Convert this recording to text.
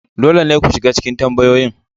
Dole ne ku shiga cikin tambayoyin.